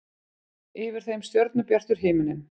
Yfir þeim stjörnubjartur himinn.